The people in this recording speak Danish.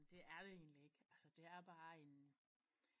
Men det er det egentligt ikke altså det er bare en